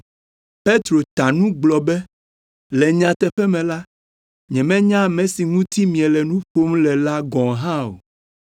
Petro ta nu gblɔ be, “Le nyateƒe me la, nyemenya ame si ŋuti miele nu ƒom le la gɔ̃ hã o.”